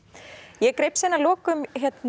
ég greip síðan að lokum